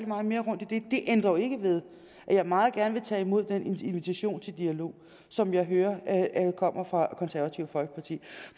meget mere rundt i det det ændrer jo ikke ved at jeg meget gerne vil tage imod den invitation til dialog som jeg hører kommer fra det konservative folkeparti